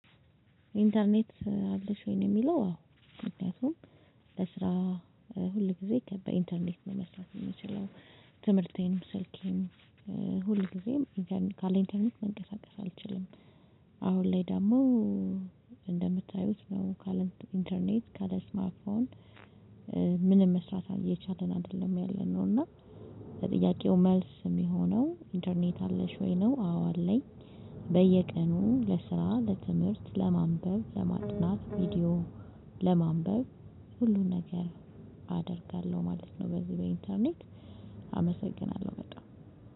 ኢንተርኔት አለሽ ወይ ነው የሚለው? አዎ ምክንያቱም ለስራ ሁል ጊዜ ከበኢንተርኔት ነው መስረት የምችለው ትምህርቴንም ስልኬንም ሁልጊዜም ካለ ኢንተርኔት መንቀሳቀስ አልችልም። አሁን ላይ ደግሞ። እንደምታዩት ነው ካለ ኢንተርኔት ካለ ስማርት ፎን ምንም መስራት እየቻለን አይደለም ያለነው። እና ለጥያቄው መልስ የሚሆነው እንተርኔት አለሽ ወይ ነው? አዎ አለኝ። በየቀኑም ለስራ በትምህርት ለማንበብ ለማጥናት ቪዲዮ ለማንበብ ሁሉን ነገር አደርጋለሁ ማለት ነው። በዚህ በኢንተርኔት አመሰግናለሁ በጣም